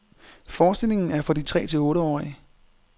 Forestillingen er for de tre- til otteårige.